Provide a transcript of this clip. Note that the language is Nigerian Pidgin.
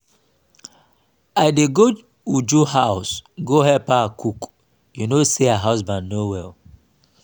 i dey go uju house go help her cook you know say her husband no well